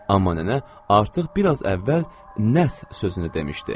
Amma nənə artıq bir az əvvəl nəs sözünü demişdi.